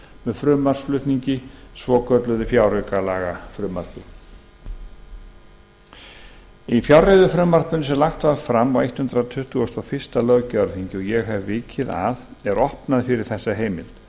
með frumvarpsflutningi svokölluðu fjáraukalagafrumvarpi í fjárreiðufrumvarpinu sem lagt var fram á hundrað tuttugasta og fyrsta löggjafarþingi og ég hef vikið að er opnað fyrir þessa heimild